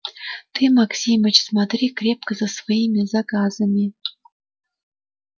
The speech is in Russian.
ты максимыч смотри крепко за своими заказами